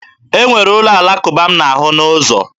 E nwere ụlọ Alakụba m na-ahụ n'ụzọ.